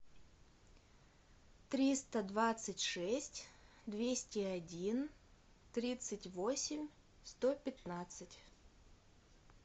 триста двадцать шесть двести один тридцать восемь сто пятнадцать